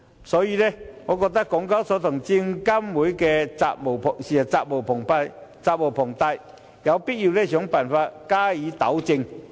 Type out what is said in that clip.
所以，我認為港交所和證監會責無旁貸，有必要想辦法加以糾正。